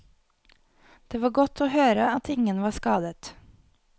Det var godt å høre at ingen var skadet.